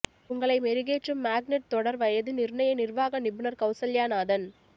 உங்களை மெருகேற்றும் மேக்னெட் தொடர் வயது நிர்ணய நிர்வாக நிபுணர் கௌசல்யா நாதன்